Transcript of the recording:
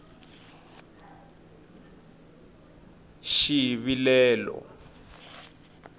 xivilelo